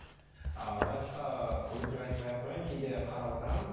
ыыы лайкқа өтірік айтпай ақ қояйын кейде қарап отырамын